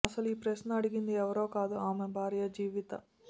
అసలు ఈ ప్రశ్న అడిగింది ఎవరో కాదు ఆమె భార్య జీవిత